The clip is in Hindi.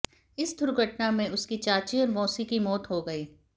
इस दुर्घटना में उसकी चाची और मौसी की मौत हो गई